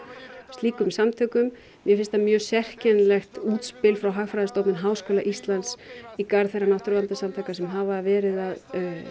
slíkum samtökum mér finnst það mjög sérkennilegt útspil frá Hagfræðistofnun Háskóla Íslands í garð þeirra náttúruverndarsamtaka sem hafa verið að